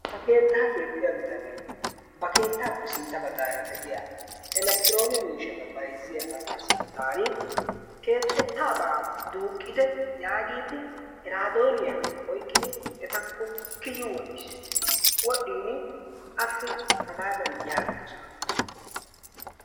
Ha keettaa keexxiya bitanee ba keettaappe sintta baggaara de'iya elektrone miishshata bayizziya asaa sinttan keexettabaa duuqqite yaagiiddi iraadooniya oyiqqidi etakko kiyi wodhdhis. Wodhdhin assi hagaadan yaagiisona